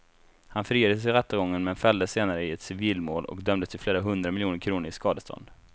Han friades i rättegången men fälldes senare i ett civilmål och dömdes till flera hundra miljoner kronor i skadestånd.